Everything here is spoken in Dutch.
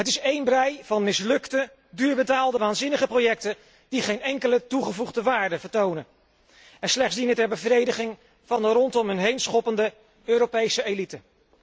Het is één brij van mislukte, duurbetaalde, waanzinnige projecten die geen enkele toegevoegde waarde vertonen en slechts dienen ter bevrediging van een rondom hun heen schoppende Europese elite.